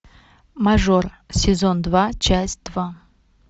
мажор сезон два часть два